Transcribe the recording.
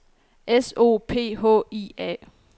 S O P H I A